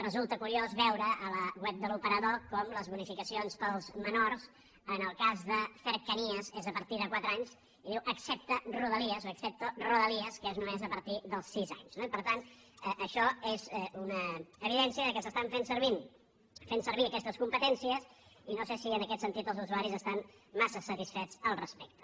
resulta curiós veure a la web de l’operador com les bonificacions per als menors en el cas de cercanías és a partir de quatre anys i diu excepte rodalies o excepto roda lies que és només a partir dels sis anys no i per tant això és una evidència que s’estan fent servir aquestes competències i no sé si en aquest sentit els usuaris estan massa satisfets al respecte